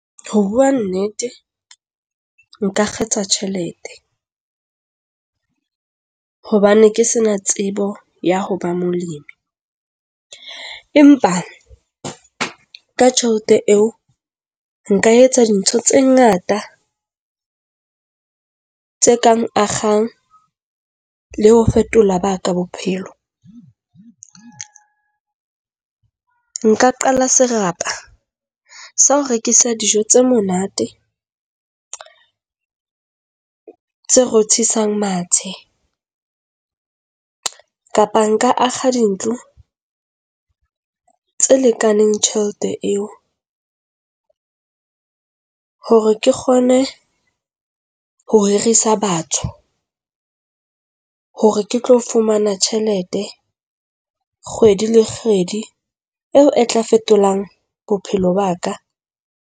Ho bua nnete, nka kgetha tjhelete hobane ke se na tsebo ya ho ba molemi. Empa ka tjhelete eo nka etsa dintho tse ngata tse kang akgang le ho fetola ba ka bophelo. Nka qala serapa sa ho rekisa dijo tse monate, tse rothisang mathe, kapa nka akga dintlo tse lekaneng tjhelete eo hore ke kgone ho hirisa batho, hore ke tlo fumana tjhelete kgwedi le kgwedi eo e tla fetolang bophelo ba ka.